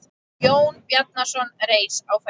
Jón Bjarnason reis á fætur.